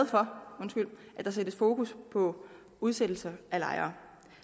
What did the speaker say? for at der sættes fokus på udsættelser af lejere